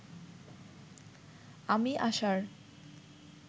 আমি আসার